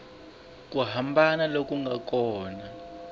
ku hambana loku nga kona